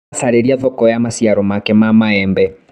Aracariria thoko cia maciaro make ma mbembe.